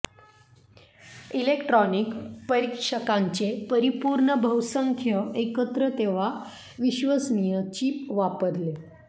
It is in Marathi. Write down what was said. इलेक्ट्रॉनिक परीक्षकांचे परिपूर्ण बहुसंख्य एकत्र तेव्हा विश्वसनीय चीप वापरले